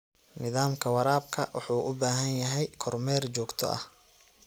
Nidaamka waraabka wuxuu u baahan yahay kormeer joogto ah.